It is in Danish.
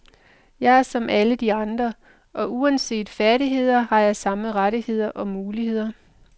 Jeg er som alle de andre, og uanset færdigheder har jeg samme rettigheder og muligheder.